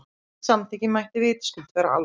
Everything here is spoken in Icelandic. Slíkt samþykki mætti vitaskuld vera almennt.